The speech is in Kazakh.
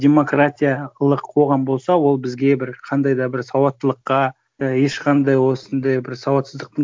демократиялық қоғам болса ол бізге бір қандай да бір сауаттылыққа і ешқандай осындай бір сауатсыздықтың